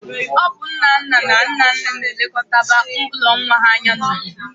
Ọ bụ nnanna na nnenna na-elekọtaba ụlọ nwa ha anya n'obodo